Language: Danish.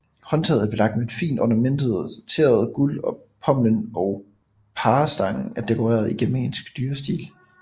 Håndtaget er belagt med fint ornamenteret guld og pommelen og parerstangen er dekoreret i germansk dyrestil